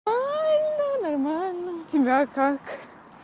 ай ну нормально у тебя как